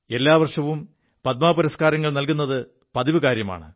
എല്ലാ വർഷവും പദ്മ പുരസ്കാരങ്ങൾ നൽക്കുത് പതിവ് കാര്യമാണ്